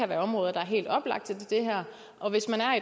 være områder der er helt oplagte til det her og hvis man er